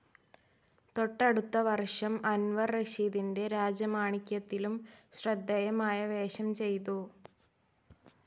തെട്ടടുത്ത വർഷം അൻവർ റഷീദിൻ്റെ രാജമാണിക്യത്തിലും ശ്രദ്ധേയമായ വേഷം ചെയിതു.